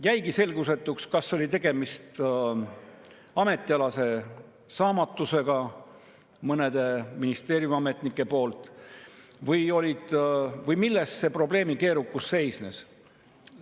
Jäigi selgusetuks, kas on tegemist mõne ministeeriumiametniku ametialase saamatusega või milles see probleemi keerukus on seisnenud.